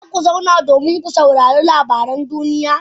Za ku zauna domin ku saurari labaran duniya?